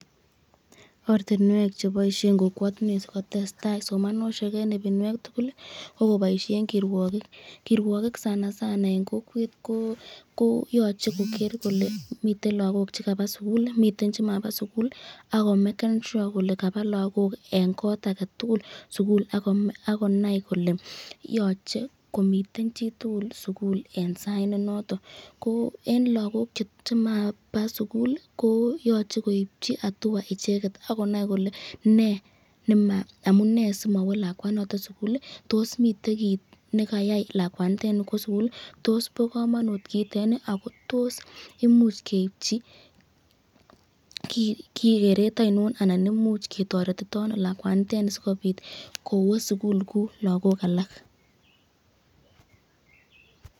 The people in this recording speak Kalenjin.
Ortinwek cheboishen kokwotinwek sikotestai somanoshek en ibinwek tukul ko koboishen kirwokik, kirwokik sana sana en kokwet ko yoche kokeer kole miten lokok chekaba sukul miten chemabaa sukul ak komeken sure kolee kabaa lokok en kot aketukul sukul akonai kole yoche komiten chitukul sukul en sait ne noton, ko en lokok chemaba sukul ko yoche koibchi atua icheket akonai kolee nee amunee simawo lakwanoton sukul, toos miten kiit nekayai lakwanitet kwoo sukul, toos boo komonut kiitet ak ko toos imuuch keibchi kereet ainon anan imuch ketoretitono lakwanitet sikobiit kowoo sukul kouu lokok alak.